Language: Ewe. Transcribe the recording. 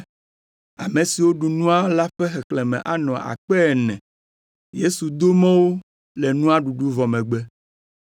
Ame siwo ɖu nua la ƒe xexlẽme anɔ akpe ene (4,000). Yesu do mɔ wo le nua ɖuɖu vɔ megbe.